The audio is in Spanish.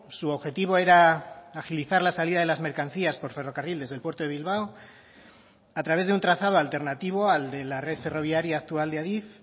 su objetivo era agilizar la salida de las mercancías por ferrocarriles del puerto de bilbao a través de un trazado alternativo al de la red ferroviaria actual de adif